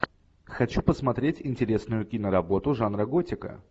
хочу посмотреть интересную киноработу жанра готика